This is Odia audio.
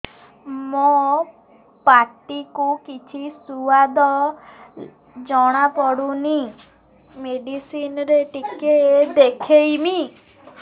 ମୋ ପାଟି କୁ କିଛି ସୁଆଦ ଜଣାପଡ଼ୁନି ମେଡିସିନ ରେ ଟିକେ ଦେଖେଇମି